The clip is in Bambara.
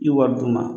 I wari d'u ma